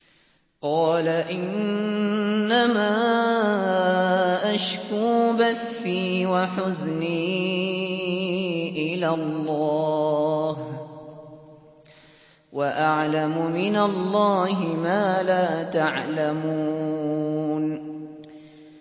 قَالَ إِنَّمَا أَشْكُو بَثِّي وَحُزْنِي إِلَى اللَّهِ وَأَعْلَمُ مِنَ اللَّهِ مَا لَا تَعْلَمُونَ